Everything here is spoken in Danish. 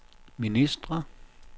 ministre